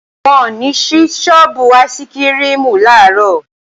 Wọn ò ní sí sọ́ọ́bù áìsikirimù làárọ̀